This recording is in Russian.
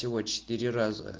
всего четыре раза